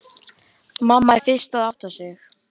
Mamma er fyrst að átta sig: